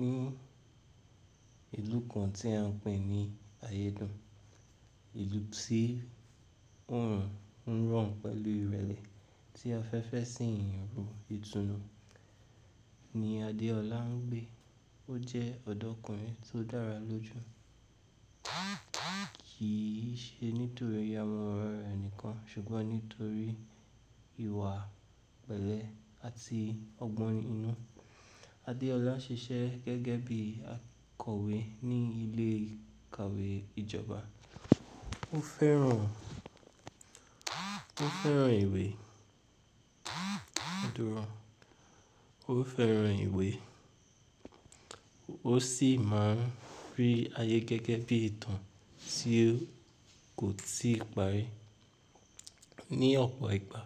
Ní ìlú kan tí a ń pè ní ayédùn, ìlú tí òòrùn ń ran pẹ̀lú ìrẹ̀lẹ̀ tí afẹ́fẹ́ sì ń ru, ìtùnú ni Adeola ń gbé. Ó jẹ́ ọ̀dọ́kùnrin tó dára lójú, kì í ṣe nítorí aworan rẹ̀ nìkan ṣùgbọ́n nítorí ìwà pẹ̀lẹ́ àti ọgbọ́n inú. Adeola ṣiṣẹ́ gẹ́gẹ́ bí akọ̀wé ní ilé ìkàwé ìjọba. Ó fẹ́ràn, ó fẹ́ràn ìwé. Òdodo rọ̀. Ó fẹ́ràn ìwé, ó sì máa ń rí ayé gẹ́gẹ́ bí ìtàn tí kò tí ì parí. Ni ọ̀pọ̀ ìgbà